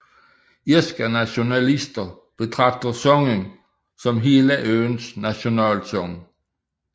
Irske nationalister betragter sangen som hele øens nationalsang